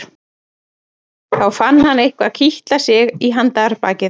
Þá fann hann eitthvað kitla sig í handarbakið.